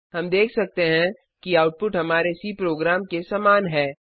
हम देख सकते हैं कि आउटपुट हमारे सी प्रोग्राम के समान है